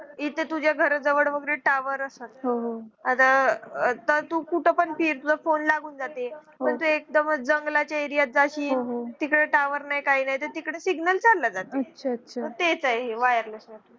इथं तुझ्या घरा जवळ वगैरे tower असतात आता तू कुठे पण फिर तुला phone लागून जाते. पण तू एकदमच जंगलाच्या area मध्ये जाशील तिकडे tower नाही काही नाही तिकडे signal चालल्या जात. तेच आहे wireless network